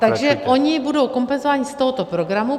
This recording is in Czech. Takže oni budou kompenzováni z tohoto programu.